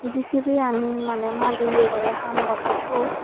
Jcb an maney madi ham gorer siut.